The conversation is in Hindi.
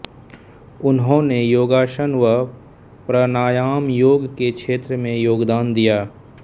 उन्होंने योगासन व प्राणायामयोग के क्षेत्र में योगदान दिया